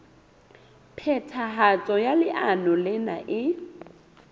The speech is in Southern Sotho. phethahatso ya leano lena e